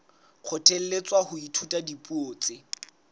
kgothalletswa ho ithuta dipuo tse